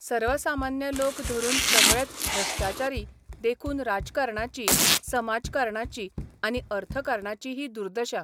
सर्वसामान्य लोक धरून सगळेच भ्रश्टाचारी देखून राजकारणाची, समाजकारणाची आनी अर्थकारणाची ही दुर्दशा.